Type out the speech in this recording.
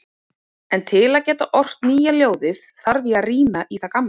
En til að geta ort nýja ljóðið þarf ég að rýna í það gamla.